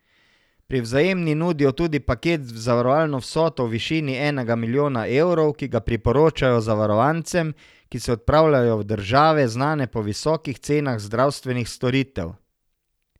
Pri Vzajemni nudijo tudi paket z zavarovalno vsoto v višini enega milijona evrov, ki ga priporočajo zavarovancem, ki se odpravljajo v države, znane po visokih cenah zdravstvenih storitev.